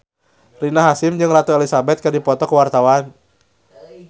Rina Hasyim jeung Ratu Elizabeth keur dipoto ku wartawan